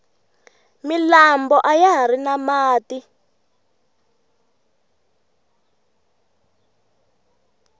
milambo ayahari na mati